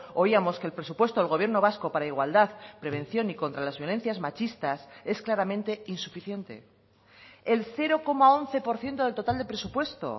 oíamos que el presupuesto del gobierno vasco para igualdad prevención y contra las violencias machistas es claramente insuficiente el cero coma once por ciento del total de presupuesto